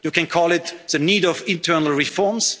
call it semester. You can call it the need of